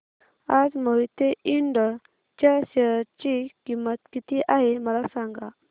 आज मोहिते इंड च्या शेअर ची किंमत किती आहे मला सांगा